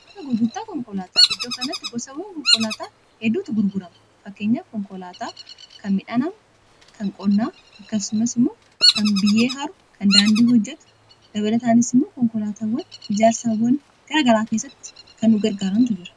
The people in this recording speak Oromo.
amaa gurgurtaa konkolaataa iddoo kanatti gosawwan konkolaataa hedduutu gurgurama fakkeenya konkolaataa kan midhaanam kan qonnaa akkasumas immoo kan biyyee haru kan daandii hojjetu dabadataanis immoo konkolaataawwan ijaarsaawwan taragaraa keessatti kannugargaarantu jira